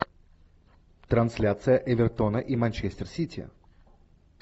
трансляция эвертона и манчестер сити